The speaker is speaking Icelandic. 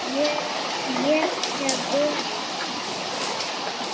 Ég hef verið þar.